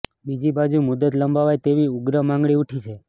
બીજી બાજુ મુદ્દત લંબાવાય તેવી ઉગ્ર માગણી ઉઠી છે